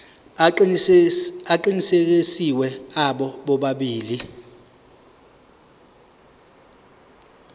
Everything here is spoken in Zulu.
aqinisekisiwe abo bobabili